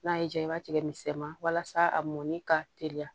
N'a y'i diya i b'a tigɛ misɛman wasa a mɔni ka teliya